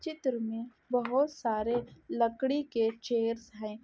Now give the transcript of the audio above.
चित्र में बहुत सरे लकड़ी के चेयर्स है।